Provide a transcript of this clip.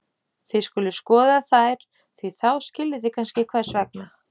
Þið skuluð skoða þær því þá skiljið þið kannski hvers vegna.